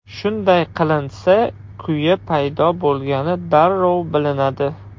Shunday qilinsa, kuya paydo bo‘lgani darrov bilinadi.